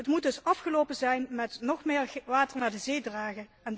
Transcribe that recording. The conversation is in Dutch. Het moet dus afgelopen zijn met nog meer water naar de zee dragen.